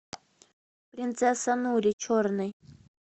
принцесса нури черный